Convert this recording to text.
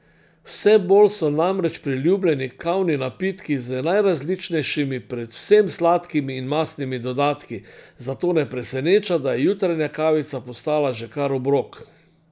Vse bolj so namreč priljubljeni kavni napitki z najrazličnejšimi, predvsem sladkimi in mastnimi dodatki, zato ne preseneča, da je jutranja kavica postala že kar obrok.